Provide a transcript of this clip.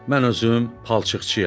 Mən özüm palçıqçıyam.